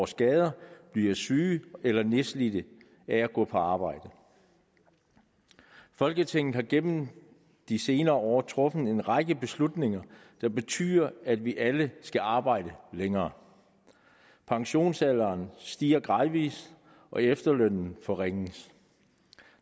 skader bliver syge eller nedslidte af at gå på arbejde folketinget har gennem de senere år truffet en række beslutninger der betyder at vi alle skal arbejde længere pensionsalderen stiger gradvis og efterlønnen forringes